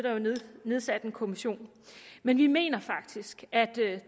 nedsat en kommission men vi mener faktisk at